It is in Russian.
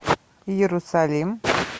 иерусалим